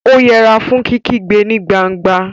ó yẹra fún kíkígbe ní gbangba